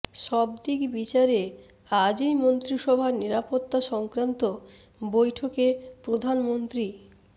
সব দিক বিচারে আজই মন্ত্রিসভার নিরাপত্তা সংক্রান্ত বৈঠকে প্রধানমন্ত্রী